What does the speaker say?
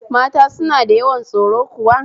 Mata suna da yawan tsoro kuwa?